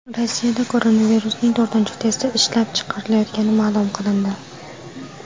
Rossiyada koronavirusning to‘rtinchi testi ishlab chiqilayotgani ma’lum qilindi.